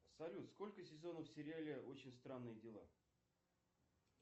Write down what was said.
салют сколько сезонов в сериале очень странные дела